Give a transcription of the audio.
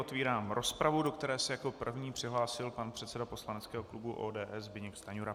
Otvírám rozpravu, do které se jako první přihlásil pan předseda poslaneckého klubu ODS Zbyněk Stanjura.